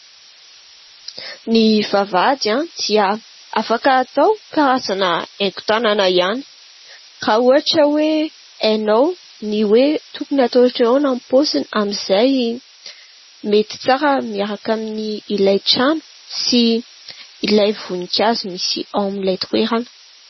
Ny vavahady dia afaka atao karazana haingo tanana ihany ; raha ohatra hoe hainao ny hoe tokony hatao ohatra ny ahoana ny paoziny amin'izay mety tsara miaraka aminy ilay trano sy ilay voninkazo misy ao amin'ilay toerana.